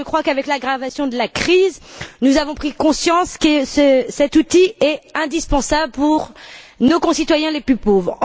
Je crois qu'avec l'aggravation de la crise, nous avons pris conscience que cet outil est indispensable pour nos concitoyens les plus pauvres.